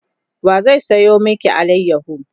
wa zai sayo maki alayaho?